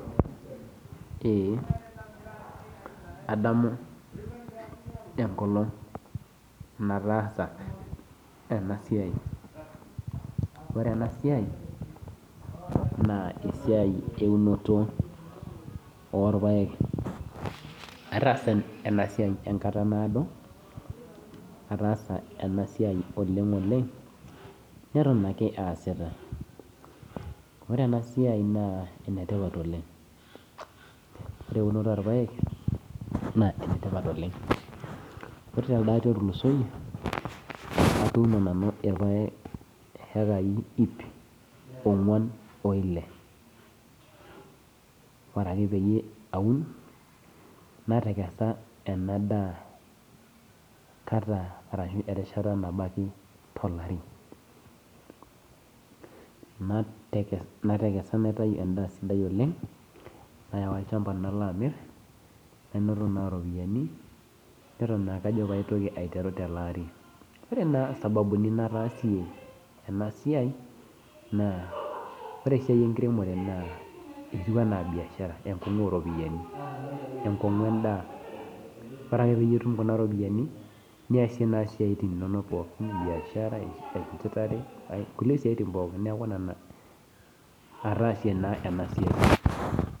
Ee adamu enkolong nataasa enasiai . Ore enasiai naa esiai eunoto orpaek , ataasa enasiai enkata naado , ataasa enasiai oleng oleng neton ake aasita , ore enasiai naa enetipat oleng, ore eunoto orpaek naa enetipat oleng , ore telde ari otulusoyie atuuno naanu irpaek iekai ip ongwan oile , ore ake pee aun natekesa enadaa kata ashu enadaa enkata nabo ake tolari, natekesa naitai endaa sidai oleng nayawa olchamba nalaamir nanoto naa ropiyiani , neton naake ajo pee aitoki aiteru teleari . Ore naa sababuni nataasie enasiai naa ore esiai enkiremore naa etiu anaa biashara entumoto oropiyiani , enkongu endaa , ore ake peyie itum kuna ropiyiani niasie naa siatin inonok pookin , biashara , enchetare , kulie siatin pookin , niaku nena ataasie naa enasiai.